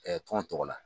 tɔn tɔgɔ la